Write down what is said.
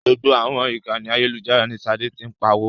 Gbogbo àwọn ìkànì ayélujára ní Ṣadé ti ń pawó.